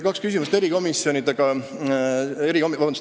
Kaks küsimust.